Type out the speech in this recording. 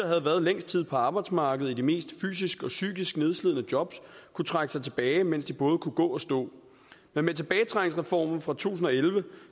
havde været længst tid på arbejdsmarkedet i de mest fysisk og psykisk nedslidende jobs kunne trække sig tilbage mens de både kunne gå og stå men med tilbagetrækningsreformen fra to tusind og elleve